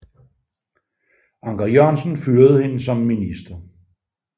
Anker Jørgensen fyrede hende som minister